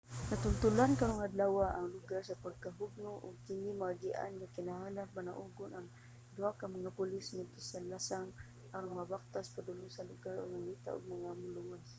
natultolan karong adlawa ang lugar sa pagkahugno ug dili kini maagian nga gikinahanglang panaugon ang duha ka mga pulis ngadto sa lasang aron magbaktas padulong sa lugar og mangita ug mga naluwas